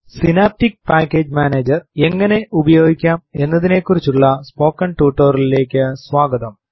synaptic package manager എങ്ങനെ ഉപയോഗിക്കാം എന്നതിനെക്കുറിച്ചുള്ള സ്പോക്കെൻ ടുട്ടൊറിയലിലേക്ക് സ്വാഗതം